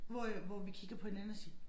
Hvor øh hvor vi kigger på hinanden og siger